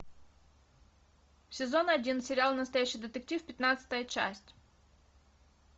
сезон один сериал настоящий детектив пятнадцатая часть